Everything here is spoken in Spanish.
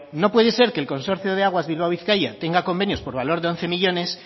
no puede ser que el consorcio de aguas bilbao bizkaia tenga convenios por valor de once millónes